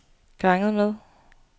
ganget med